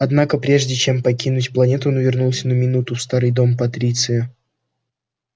однако прежде чем покинуть планету он вернулся на минуту в старый дом патриция